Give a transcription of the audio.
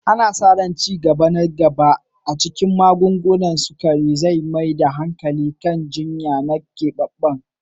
Ana sa ran ci gaba na gaba a cikin magungunan ciwon sukari zai mai da hankali kan jinya na keɓaɓɓen